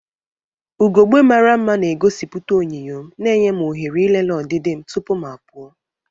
Ugogbe mara mma na-egosipụta onyinyo m, na-enye m ohere ịlele ọdịdị m tupu m apụ.